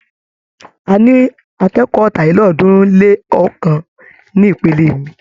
A ní akékọ̀ọ́ ọ̀tàlélọ́ọ̀ọ́dúnrún-lé-ọ̀kan ní ìpele mi.